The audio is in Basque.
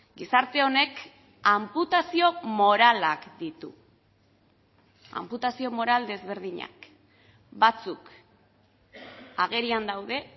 gizarte honek anputazio moralak ditu anputazio moral desberdinak batzuk agerian daude